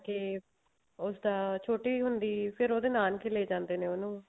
ਤੇ ਉਸਦਾ ਛੋਟੀ ਹੁੰਦੀ ਫ਼ੇਰ ਉਹਦੇ ਨਾਨਕੇ ਲੈ ਜਾਂਦੇ ਉਹਨੂੰ